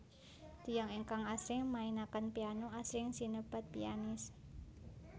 Tiyang ingkang asring mainaken piano asring sinebat pianis